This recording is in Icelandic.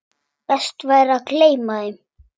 Best væri að gleyma þeim.